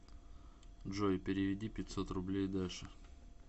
джой переведи пятьсот рублей даше